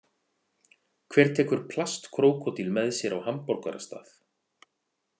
Hver tekur plastkrókódíl með sér á hamborgarastað?